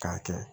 K'a kɛ